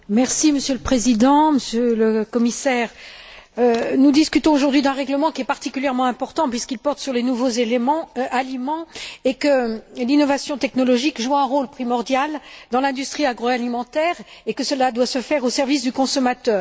Monsieur le Président, Monsieur le Commissaire, nous discutons aujourd'hui d'un règlement qui est particulièrement important puisqu'il porte sur les nouveaux aliments, que l'innovation technologique joue un rôle primordial dans l'industrie agroalimentaire et que cela doit se faire dans l'intérêt du consommateur.